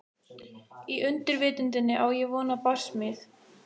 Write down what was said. Í undirvitundinni á ég von á barsmíð.